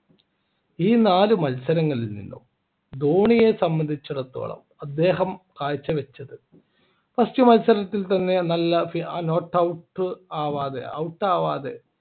ഈ നാല് മത്സരങ്ങളിൽനിന്നും ധോണിയെ സംബന്ധിച്ചിടത്തോളം അദ്ദേഹം കാഴ്ചവെച്ചത് first മത്സരത്തിൽ തന്നെ നല്ല not out ആവാതെ out ആവാതെ